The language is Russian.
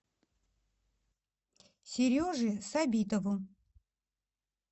сереже сабитову